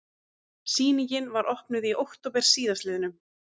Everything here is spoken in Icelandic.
Sýningin var opnuð í október síðastliðnum